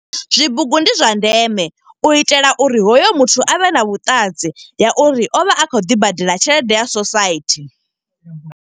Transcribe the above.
Zwibugu ndi zwa ndeme, u itela uri hoyo muthu avhe na vhuṱanzi ya uri o vha a kho ḓi badela tshelede ya sosaithi.